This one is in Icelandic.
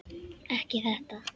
Ekki þetta!